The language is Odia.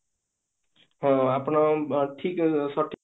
ଅ ଆପଣ ଠିକ ସଠିକ